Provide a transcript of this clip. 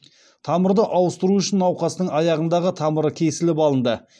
тамырды ауыстыру үшін науқастың аяғындағы тамыры кесіліп алынды